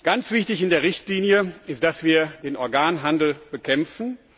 Ganz wichtig in der Richtlinie ist, dass wir den Organhandel bekämpfen.